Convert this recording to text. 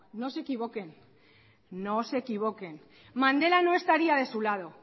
no se equivoquen no se equivoquen mandela no estaría de su lado